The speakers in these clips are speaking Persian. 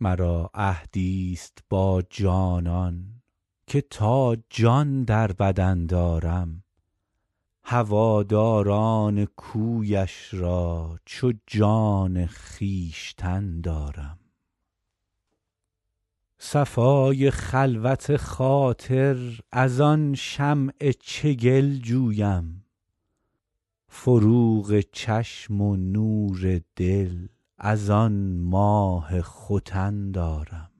مرا عهدی ست با جانان که تا جان در بدن دارم هواداران کویش را چو جان خویشتن دارم صفای خلوت خاطر از آن شمع چگل جویم فروغ چشم و نور دل از آن ماه ختن دارم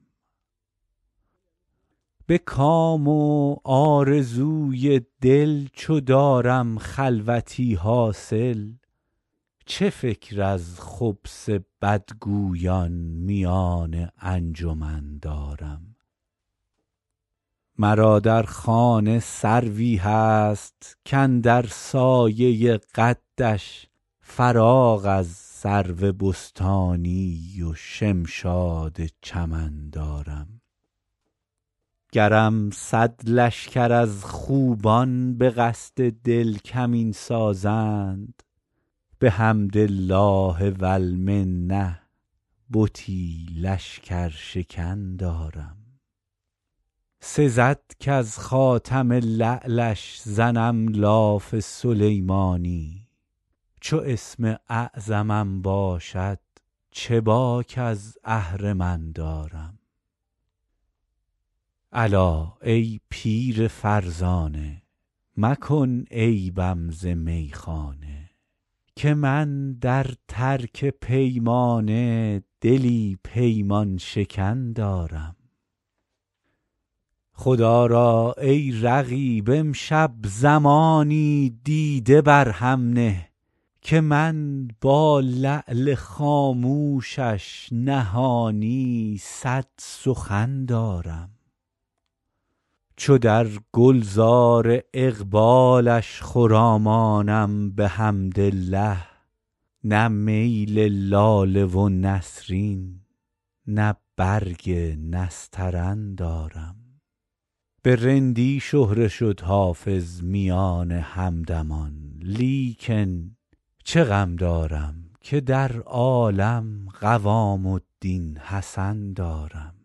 به کام و آرزوی دل چو دارم خلوتی حاصل چه فکر از خبث بدگویان میان انجمن دارم مرا در خانه سروی هست کاندر سایه قدش فراغ از سرو بستانی و شمشاد چمن دارم گرم صد لشکر از خوبان به قصد دل کمین سازند بحمد الله و المنه بتی لشکرشکن دارم سزد کز خاتم لعلش زنم لاف سلیمانی چو اسم اعظمم باشد چه باک از اهرمن دارم الا ای پیر فرزانه مکن عیبم ز میخانه که من در ترک پیمانه دلی پیمان شکن دارم خدا را ای رقیب امشب زمانی دیده بر هم نه که من با لعل خاموشش نهانی صد سخن دارم چو در گل زار اقبالش خرامانم بحمدالله نه میل لاله و نسرین نه برگ نسترن دارم به رندی شهره شد حافظ میان همدمان لیکن چه غم دارم که در عالم قوام الدین حسن دارم